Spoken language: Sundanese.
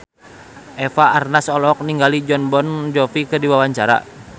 Eva Arnaz olohok ningali Jon Bon Jovi keur diwawancara